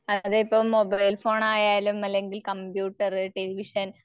അതിപ്പം മൊബൈൽഫോണായാലും അല്ലെങ്കിൽ കമ്പ്യൂട്ടറ്, ടെലിവിഷൻ